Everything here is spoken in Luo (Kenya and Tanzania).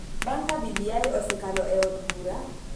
Bang� ka BBI osekalo e od bura,